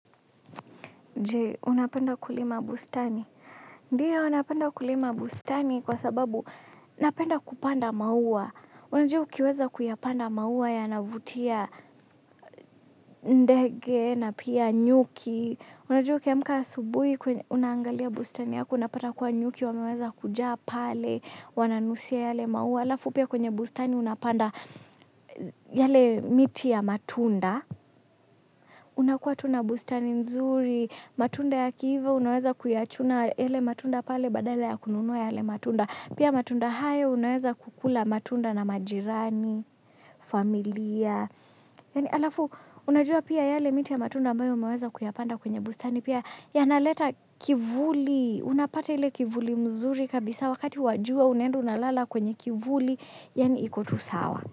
Je, unapenda kulima bustani? Ndiyo, napenda kulima bustani kwa sababu, napenda kupanda maua. Unajua ukiweza kuyapanda maua yanavutia ndege na pia nyuki. Unajua ukiamka asubuhi unaangalia bustani yako unapata kuwa nyuki wameweza kujaa pale, wananusia yale maua. Halafu pia kwenye bustani unapanda yale miti ya matunda. Unakuwa tu na bustani nzuri, matunda yakiiva, unaweza kuyachuna yale matunda pale badala ya kununua yale matunda. Pia matunda haya unaweza kukula matunda na majirani, familia. Yaani halafu, unajua pia yale miti ya matunda ambayo umeweza kuyapanda kwenye bustani pia. Yanaleta kivuli, unapata ile kivuli mzuri kabisa wakati wa jua, unaenda unalala kwenye kivuli, yaani kuko tulivu sana.